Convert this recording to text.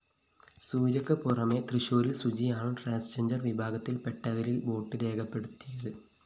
സൂര്യയ്ക്ക് പുറമെ തൃശൂരിൽ സുജിയാണ് ട്രാൻസ്ജെൻഡർ വിഭാഗത്തിൽപ്പെട്ടവരിൽ വോട്ട്‌ രേഖപ്പെടുത്തിയത്